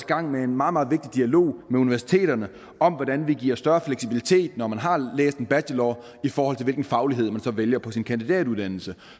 gang med en meget meget vigtig dialog med universiteterne om hvordan vi giver større fleksibilitet når man har læst en bachelor i forhold til hvilken faglighed man så vælger på sin kandidatuddannelse